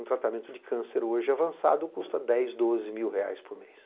Um tratamento de câncer hoje avançado custa dez, doze mil reais por mês.